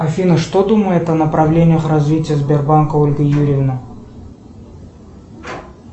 афина что думает о направлениях развития сбербанка ольга юрьевна